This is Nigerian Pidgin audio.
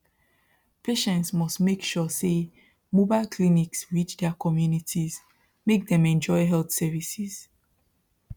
patients must make sure say mobile clinics reach their communities make them enjoy health services